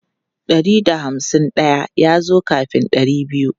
Ɗari da hamsin daya ya zo kafin ɗari biyu.